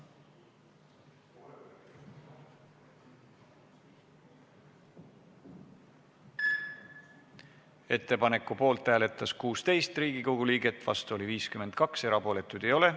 Hääletustulemused Ettepaneku poolt hääletas 16 Riigikogu liiget, vastu oli 52, erapooletuid ei ole.